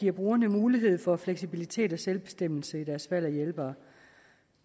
giver brugerne mulighed for fleksibilitet og selvbestemmelse i deres valg af hjælpere